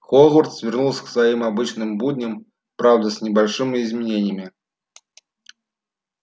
хогвартс вернулся к своим обычным будням правда с небольшими изменениями